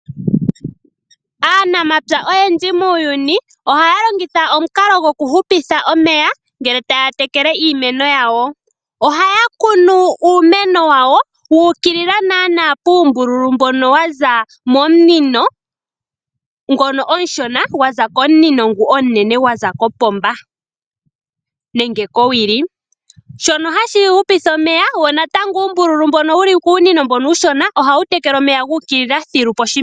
Aanamapya oyendji muuyuni ohaya longitha omukalo gokuhupitha omeya, ngele taya tekele iimeno yawo. Ohaya kunu uumeno wawo wu ukilila naanaa puumbululu mbono wa za momunino ngono omushona gwa za momunino ngono omunene gwa za kopomba nenge kowili, shono hashi hupitha omeya. Uumbululu mbono wu li kuunino uushona ohawu tekele omeya gu ukilila poshimeno.